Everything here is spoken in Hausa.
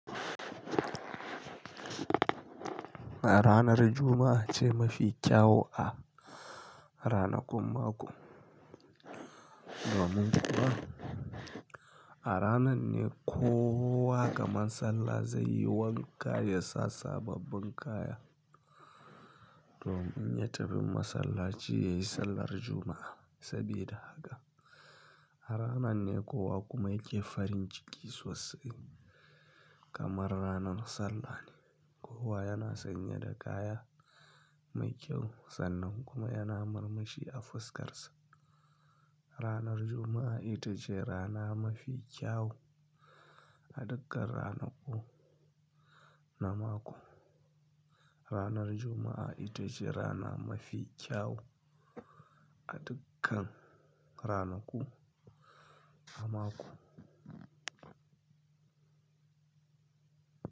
Ranar Juma'a ce mafi kyawu a ranakun mako. Domin kuwa a ranan ne kowa kamar sallah zai yi wanka, ya sa sababbin kaya domin ya tafi masallaci yayi sallar juma'a. Sabida haka a ranan ne kowa kuma yake farin ciki sosai kamar ranan sallah ne. Kowa yana sanye da kaya mai kyau sannan kuma yana murmushi a fuskar sa. Ranar Juma'a ita ce rana mafi kyau a dukkan ranaku na mako. Ranar Juma'a ita ce rana mafi kyau a dukkan ranaku na mako.